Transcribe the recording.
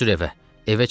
Tez sür evə.